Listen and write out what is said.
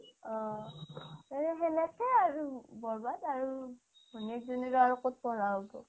অ' সেকেকেই আৰু বৰ্বাদ আৰু ঘৈনিয়েক জনিৰো আৰু ক'ত পঢ়া হ'ব